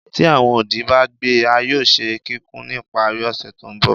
Ti awọn odi ba gbẹ a yoo ṣe kikun ni ipari ose to nbọ